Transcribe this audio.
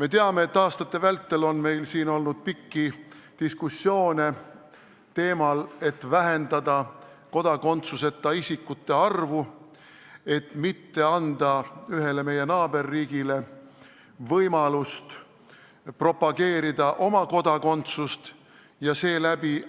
Me teame, et aastate vältel on meil olnud pikki diskussioone teemal, kuidas vähendada kodakondsuseta isikute arvu, et mitte anda ühele meie naaberriigile võimalust propageerida oma kodakondsust ja seeläbi